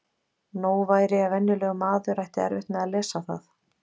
Nóg væri ef venjulegur maður ætti erfitt með að lesa það.